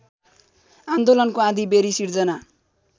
आन्दोलनको आँधीबेरी सिर्जना